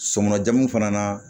Somɔɔn fana na